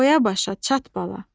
Boya-başa çat bala.